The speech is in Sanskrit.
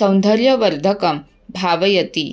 सौन्दर्यवर्धकं भावयति